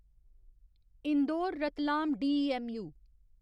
Indore Ratlam DEMU